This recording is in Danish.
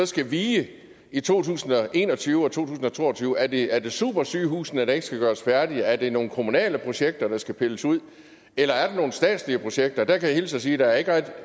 skal vige i to tusind og en og tyve og 2022 er det er det supersygehusene der ikke skal gøres færdige er det nogle kommunale projekter der skal pilles ud eller er der nogle statslige projekter der kan jeg hilse og sige at der ikke rigtig